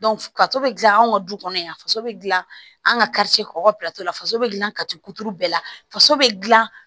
ka to bɛ dilan anw ka du kɔnɔ yan faso bɛ dilan an ka kɔkɔso la faso bɛ dilan ka to kuturu bɛɛ la faso bɛ dilan